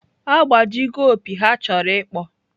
Agbaji go opi ha chọrọ ịkpọ.